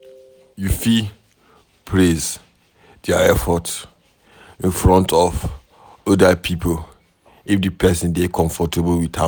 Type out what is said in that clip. You fit praise their effort in front of oda pipo if di person dey comfortable with am